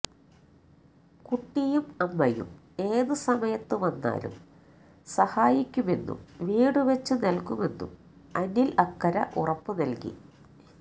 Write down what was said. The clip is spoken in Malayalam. കുട്ടിയും അമ്മയും ഏത് സമയത്ത് വന്നാലും സഹായിക്കുമെന്നും വീട് വെച്ചു നല്കുമെന്നും അനില് അക്കരെ ഉറപ്പു നല്കി